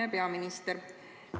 Hea peaminister!